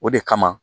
O de kama